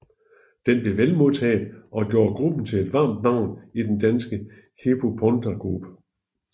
Den blev vel modtaget og gjorde gruppen til et varmt navn i den danske hiphopundergrund